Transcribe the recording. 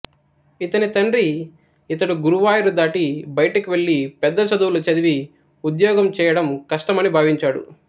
ఇతని తండ్రి ఇతడు గురువాయూరు దాటి బయటకు వెళ్ళి పెద్ద చదువులు చదివి ఉద్యోగం చేయడం కష్టమని భావించాడు